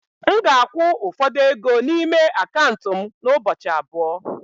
M ga-akwụ ụfọdụ ego n'ime akaụntụ m n'ụbọchị abụọ.